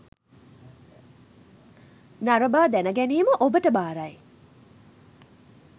නරබා දැන ගැනීම ඔබට බාරයි.